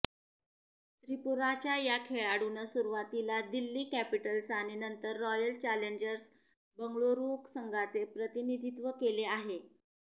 त्रिपुराच्या या खेळाडूनं सुरुवातीला दिल्ली कॅपिटल्स आणि नंतर रॉयल चॅलेंजर्स बंगळुरू संघाचे प्रतिनिधित्व केले आहे